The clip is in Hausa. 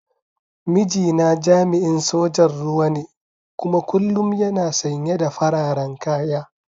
Mijina jami'in sojan ruwa ne kuma kullum yana sanye da fararen kaya.